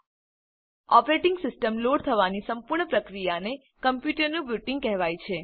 operating system load થવાની સંપૂર્ણ પ્રક્રિયાને કમ્પ્યુટરનું બુટીંગ કહેવાય છે